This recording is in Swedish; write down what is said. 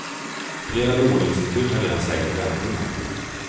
Flera låneinstitut har redan sänkt räntorna.